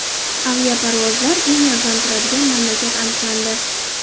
Aviaparvozlar eng arzon turadigan mamlakat aniqlandi.